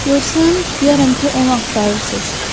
Görsəm, deyərəm ki, onu axtarırsız.